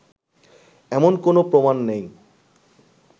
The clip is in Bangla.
এমন কোনও প্রমাণ নেই